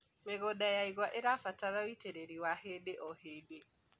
mĩgũnda ya igwa irabatara ũitiriri wa hĩndĩ o hĩndĩ